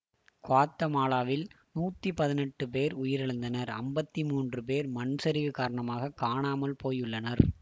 குவாத்தமாலாவில் நூற்றி பதினெட்டு பேர் உயிரிழந்தனர் ஐம்பத்தி மூன்று பேர் மண்சரிவு காரணமாக காணாமல் போயுள்ளனர்